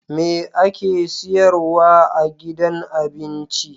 Me ake siyarwa a gidan abinci